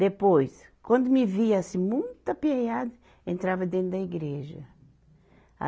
Depois, quando me via assim muito aperriada, entrava dentro da igreja. a